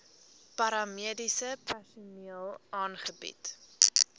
paramediese personeel aangebied